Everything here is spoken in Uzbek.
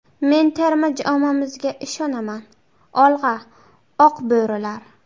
Men terma jamoamizga ishonaman ‘Olg‘a, Oq bo‘rilar!